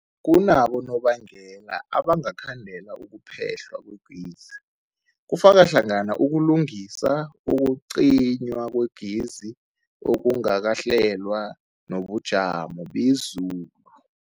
Kunabonobangela abangakhandela ukuphehlwa kwegezi, kufaka hlangana ukulungisa, ukucinywa kwegezi okungakahlelwa, nobujamo bezulu.